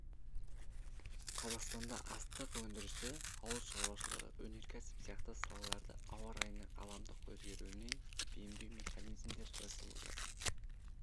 қазақстанда астық өндірісі ауыл шаруашылығы өнеркәсіп сияқты салаларды ауа райының ғаламдық өзгеруіне бейімдеу механизмдері жасалуда